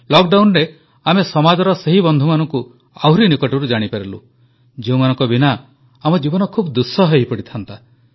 ଲକଡାଉନରେ ଆମେ ସମାଜର ସେହି ବନ୍ଧୁମାନଙ୍କୁ ଆହୁରି ନିକଟରୁ ଜାଣିପାରିଲୁ ଯେଉଁମାନଙ୍କ ବିନା ଆମ ଜୀବନ ଖୁବ୍ ଦୁଃସହ ହୋଇପଡ଼ିଥାନ୍ତା